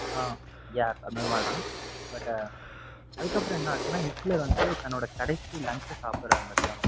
ஆஹ் yeah அந்தமாதிரி தான் but அதுக்கப்புறம் என்ன ஆச்சுன்னா ஹிட்லர் வந்து தன்னோட கடைசி lunch அ சாப்பிடுறாரு மதியானம்.